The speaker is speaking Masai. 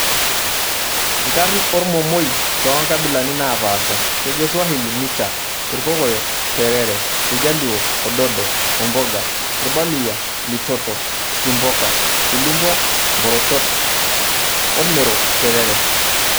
Nkarn ormomoi too nkabilani naapasha:kejo swahili; micha, irkokoyo;T erere, iljaluo; Ododo/Omboga ,irbaluyia; Litoto,/Tsimboka, ilumpwa; Mborochot oo irmero; Terere.